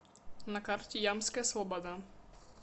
на карте ямская слобода